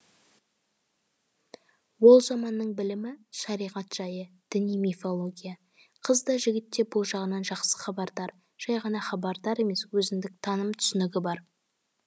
ол заманның білімі шариғат жайы діни мифология қыз да жігіт те бұл жағынан жақсы хабардар жай ғана хабардар емес өзіндік таным түсінігі бар